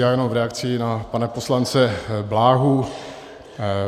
Já jenom v reakci na pana poslance Bláhu.